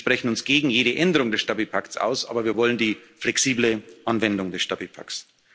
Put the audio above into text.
werden. Wir sprechen uns gegen jede Änderung des Stabilitätspakts aus, aber wir wollen die flexible Anwendung des Stabilitätspakts.